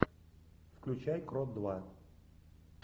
включай крот два